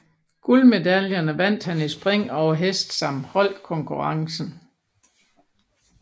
Guldmedaljerne vandt han i spring over hest samt holdkonkurrencen